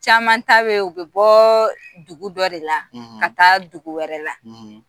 Caman ta bɛ u bɛ bɔ dugu dɔ de la ka taa dugu wɛrɛ la,